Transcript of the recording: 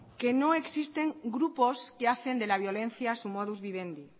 que no existen grupos que hacen de la violencia su modus vivendi